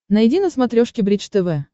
найди на смотрешке бридж тв